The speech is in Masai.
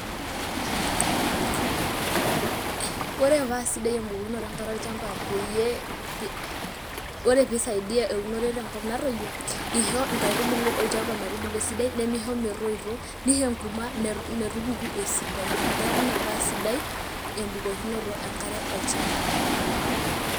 Ore paasidai ebukunoto enkare olchampa peyie ore peisaidia eunore tenkop natoyio ,ishoo nkaitubulu olchampa metubulu esidai nemeisho metoito, neisho enkurma metupuku esidai ,Neaku ina paasidai embukokinoto enkare olchamba .